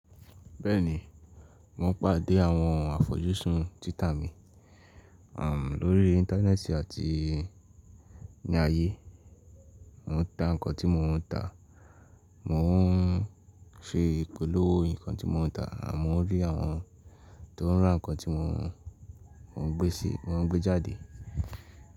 Bẹ́ẹ̀ni, mo pàdé àwọn àfojúsùn tita mi, um, lórí Íńtánẹ́ẹ̀tì àti ní ayé. Mo ń ta nǹkan tí mo ń ta, mò ń ṣe ìpolówó nǹkan tí mo ń ta àmọ́ mo rí àwọn tó ń rán nǹkan tí mò ń gbé sí, mò ń gbé jáde.